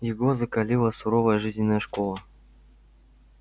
его закалила суровая жизненная школа